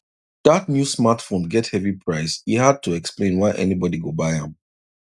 that new smartphone get heavy price e hard to explain why anybody go buy am